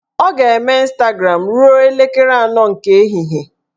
Ọ ga-eme Ịnstagram ruo elekere anọ nke ehihie